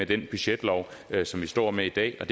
den budgetlov som vi står med i dag det